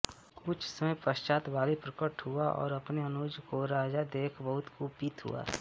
कुछ समय पश्चात बालि प्रकट हुआ और अपने अनुज को राजा देख बहुत कुपित हुआ